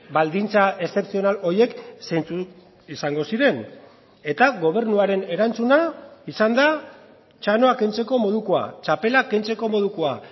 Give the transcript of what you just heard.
baldintza eszepzional horiek zeintzuk izango ziren eta gobernuaren erantzuna izan da txanoa kentzeko modukoa txapela kentzeko modukoa